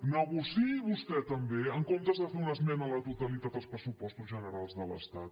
negociï vostè també en comptes de fer una esmena a la totalitat als pressupostos generals de l’estat